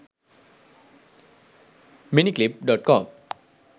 miniclip.com